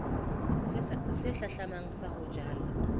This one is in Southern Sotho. se hlahlamang sa ho jala